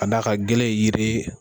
Ka d'a ka gele ye yiri ye